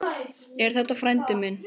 Er þetta frændi minn?